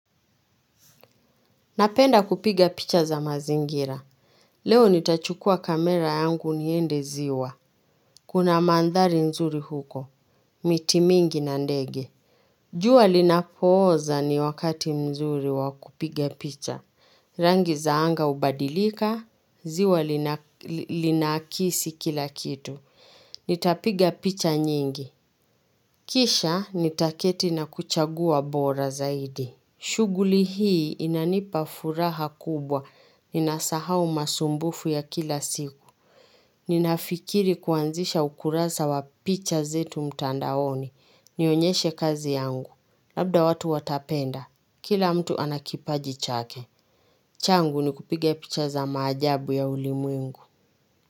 Napenda kupiga picha za mazingira. Leo nitachukua kamera yangu niende ziwa. Kuna mandhari nzuri huko. Miti mingi na ndege. Jua linapooza ni wakati nzuri wa kupiga picha. Rangi za anga hubadilika, ziwa linaakisi kila kitu. Nitapiga picha nyingi. Kisha nitaketi na kuchagua bora zaidi. Shughuli hii inanipa furaha kubwa. Ninasahau masumbufu ya kila siku. Ninafikiri kuanzisha ukurasa wa picha zetu mtandaoni. Nionyeshe kazi yangu. Labda watu watapenda. Kila mtu anakipaji chake. Changu ni kupiga picha za maajabu ya ulimwengu.